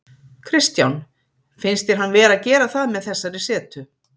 Kristján: Finnst þér hann vera að gera það með þessari setu?